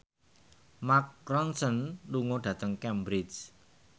Mark Ronson lunga dhateng Cambridge